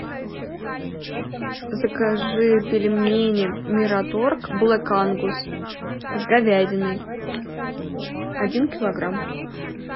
закажи пельмени мираторг блэк ангус с говядиной один килограмм